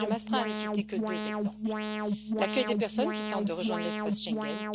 Je m'astreins à ne citer que deux exemples. L'accueil des personnes qui tentent de rejoindre l'espace Schengen.